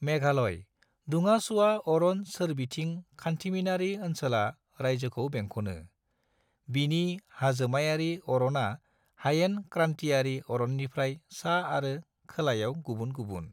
मेघालय दुंआ-सुवा अरन सोरबिथिं खान्थिमिनारि ओनसोला रायजोखौ बेंखनो; बिनि हाजोमायारि अरना हयेन क्रान्तियारि अरननिफ्राय सा आरो खोलायाव गुबुन गुबुन।